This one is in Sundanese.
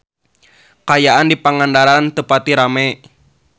Kaayaan di Pangandaran teu pati rame